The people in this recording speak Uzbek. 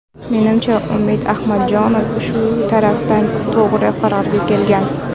Menimcha, Umid Ahmadjonov shu tarafdan to‘g‘ri qarorga kelgan.